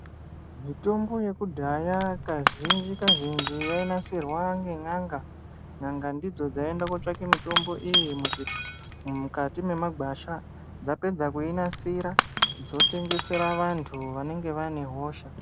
Mitombo yekudhaya kazhinji kazhinji yainasirwa ngen'anga n'anga dzidzo dzaiende kotsvake motmbo iyi muzvi mukati mwemagwasha dzapedza kuinasira dzotengesera vantu vanenge vane hosha.